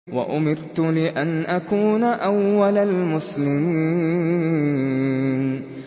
وَأُمِرْتُ لِأَنْ أَكُونَ أَوَّلَ الْمُسْلِمِينَ